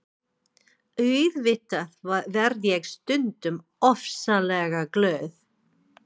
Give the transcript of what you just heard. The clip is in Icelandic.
Auðvitað verð ég stundum ofsalega glöð.